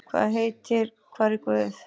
Hún heitir Hvar er guð?